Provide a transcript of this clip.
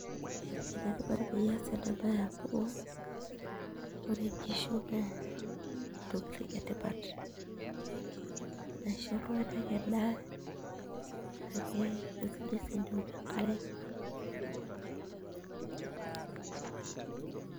Enetipat pias enabae amu, ore nkishu naa intokiting etipat, naisho iltung'anak endaa, ake kesidai si teneok enkare.